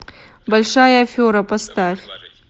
большая афера поставь